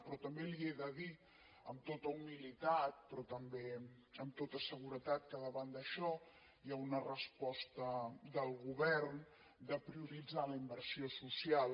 però també li he de dir amb tota humilitat però també amb tota seguretat que davant d’això hi ha una resposta del govern de prioritzar la inversió social